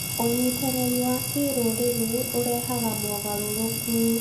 ũnyitanĩri wa kĩrũrĩrĩ ũrehaga mogarũrũku .